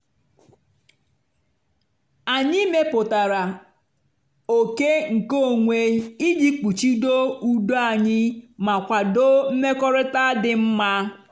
anyị mepụtara oke nkeonwe iji kpuchido udo anyị ma kwado mmekọrịta dị mma.